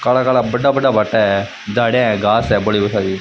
काला काला बड़ा बड़ा भाटा है झाड़ियाँ है घास है बड़ी बड़ी --